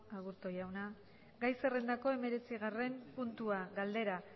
aburto jauna gai zerrendako hemeretzigarren puntua galdera